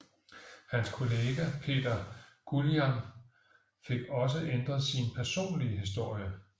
Hans kollega Peter Guillam fik også ændret sin personlige historie